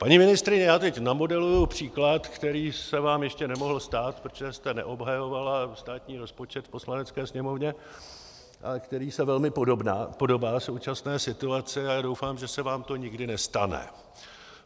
Paní ministryně, já teď namodeluji příklad, který se vám ještě nemohl stát, protože jste neobhajovala státní rozpočet v Poslanecké sněmovně, který se velmi podobá současné situaci, a já doufám, že se vám to nikdy nestane.